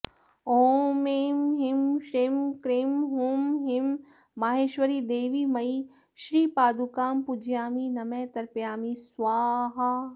ॐ ऐं ह्रीं श्रीं क्रीं हूं ह्रीं माहेश्वरीदेवीमयी श्रीपादुकां पूजयामि नमः तर्पयामि स्वाहा